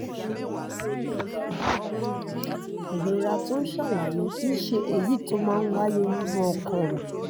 ìrora tó ò ń sàlàyé kì í ṣe èyí tó máa ń wáyé nínú ọkàn